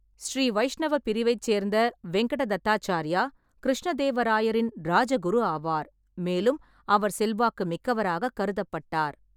ஸ்ரீ வைஷ்ணவப் பிரிவைச் சேர்ந்த வெங்கட தத்தாச்சார்யா கிருஷ்ண தேவராயரின் ராஜகுரு ஆவார், மேலும் அவர் செல்வாக்கு மிக்கவராகக் கருதப்பட்டார்.